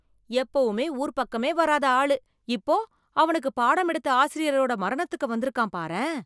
எப்பவுமே ஊர் பக்கமே வராத ஆளு. இப்போ அவனுக்கு பாடம் எடுத்த ஆசிரியரோட மரணத்திற்கு வந்திருக்கான் பாரேன் !